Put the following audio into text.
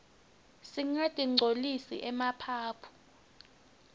singatinqcolisi emaphaphu